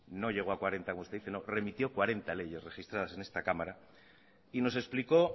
no llegó a cuarenta como usted dice no remitió cuarenta leyes registradas en esta cámara y nos explicó